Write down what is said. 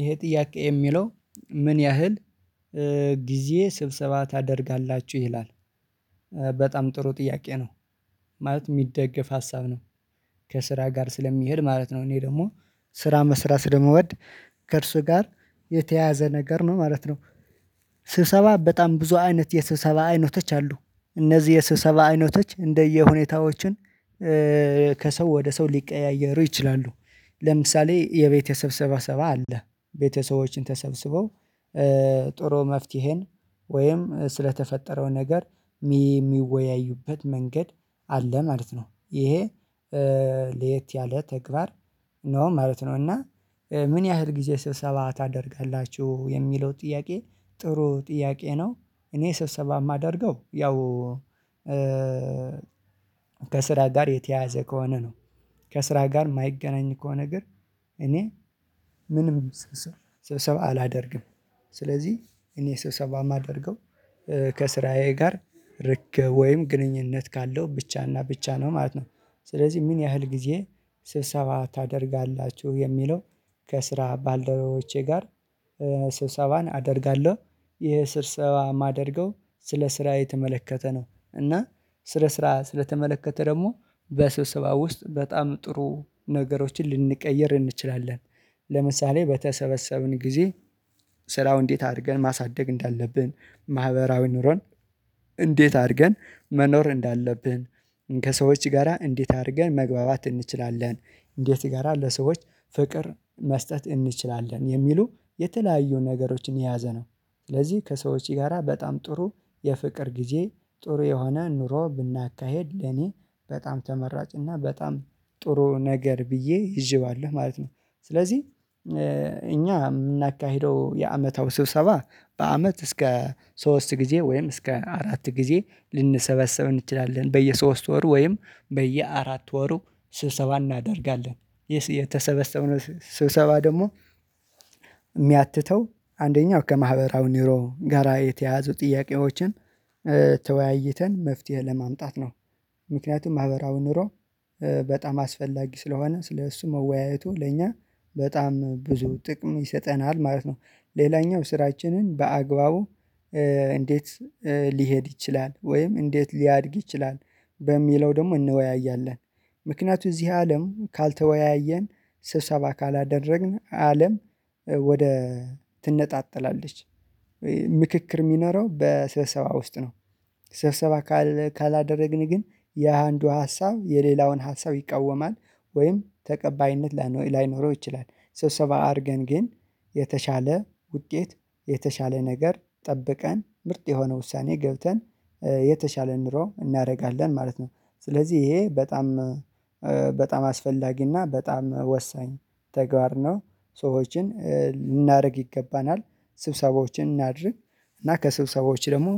ይሄ ጥያቄ የሚለው ምን ያህል ጊዜ ስብስባ ታደርጋላችሁ ይላል? በጣም ጥሩ ጥያቄ ነው ማለት የሚደገፍ ሀሳብ ነው። ከስራ ጋር ስለሚሄድ ማለት ነው እኔ ደግሞ ስራ መስራት ስለመወድ ከእርሱ ጋር የተያያዘ ነገር ነው ማለት ነው። ስብሰባ በጣም ብዙ አይነት የስብሰባ አይነቶች አሉ። እነዚህ የስብሰባ አይነቶች እንደየሁኔታዎችን ከሰው ወደ ሰው ሊቀያየሩ ይችላሉ ለምሳሌ የቤተሰብ ሰብሰባ አለ ቤተሰቦች ተሰብስበው ጥሩ መፍትሄን ወይም ስለተፈጠረው ነገር የሚወያዩበት መንገድ አለ ማለት ነው። ይሄ ለየት ያለ ተግባር ነው ማለት ነው። እና ምን ያህል ጊዜ ስብሰባ ታደርጋላችሁ የሚለው ጥያቄ? ጥሩ ጥያቄ ነው። እኔ ስብሰባ የማደርገው ያው በስራ ጋር የተያዘ ከሆነ ነው። ከስራ ጋር የማይገናኝ ከሆነ ግን እኔ ምንም ሰብሰባ አላደርግም። ስለዚህ እኔ ሰብሰባ የማደርገው ከስራዬ ጋር ርቄ ወይም ግንኙነት ካለው ብቻና ብቻ ነው ማለት ነው። ስለዚህ ምን ያህል ጊዜ ስብሰባ ታደርጋላችሁ የሚለው ከስራ ባልደረቦቼ ጋር ስብሰባን አደርጋለሁ። ይሄ ስብሰባ ማደርገው ስለ ስራ የተመለከተ ነው እና ስለ ስራ ስለተመለከተ ደግሞ በስብሰባ ውስጥ በጣም ጥሩ ነገሮችን ልንቀይር እንችላለን። ለምሳሌ በተሰበሰብን ጊዜ ስራው እንዴት አድርገን ማሳደግ እንዳለብን ማህበራዊ ኑሮን እንዴት አድርገን መኖር እንዳለብን ከሰዎች ጋራ እንዴት አድርገን መግባባት እንችላለን እንዴት ጋራ ለሰዎች ፍቅር መስጠት እንችላለን የሚሉ የተለያዩ ነገሮችን የያዘ ነው። ስለዚህ ከሰዎች ጋራ በጣም ጥሩ የፍቅር ጊዜ ጥሩ የሆነ ኑሮ ብናካሄድ ለኔ በጣም ተመራጭ እና በጣም ጥሩ ነገር ብዬ ይዥዋለሁ ማለት ነው። ስለዚህ እኛ የምናካሂደው የአመታዊ ስብሰባ በአመት እስከ ሶስት ጊዜ ወይም እስከ አራት ጊዜ ልንሰበሰብ እንችላለን በየሶስት ወር ወይም በየአራት ወሩ ስብሰባ እናደርጋለን። የተሰበሰበው ስብሰባ ደግሞ የሚያትተው አንደኛው ከማህበራዊ ኒውሮ ጋራ የተያዙ ጥያቄዎችን ተወያይተን መፍትሄ ለማምጣት ነው። ምክንያቱም ማህበራው ኑሮ በጣም አስፈላጊ ስለሆነ ስለእሱ መወያየቱ ለእኛ በጣም ብዙ ጥቅም ይሰጠናል ማለት ነው። ሌላኛው ስራችንን በአግባቡ እንዴት ሊሄድ ይችላል ወይም እንዴት ሊያድግ ይችላል በሚለው ደግሞ እንወያያለን። ምክንያቱም እዚህ አለም ካልተወያየን ስብሰባ ካላደረግን አለም ወደ ትነጣጠላለች። ምክክር የሚኖረው በሰብሰባ ውስጥ ነው። ሰብሰባ ካላደረግን ግን የአንዱ ሀሳብ የሌላውን ሀሳብ ይቃወማል ወይም ተቀባይነት ላይኖረው ይችላል። ስብሰባ አድርገን ግን የተሻለ ውጤት የተሻለ ነገር ጠብቀን ምርጥ የሆነ ውሳኔ ገብተን የተሻለ ኑሮ እናደርጋለን ማለት ነው። ስለዚህ ይሄ በጣም በጣም አስፈላጊና በጣም ወሳኝ ተግባር ነው። ሰዎችን ልናደርግ ይገባናል ስብሰቦችን እናድርግ እና ከሰብሰቦችሽ ደግሞ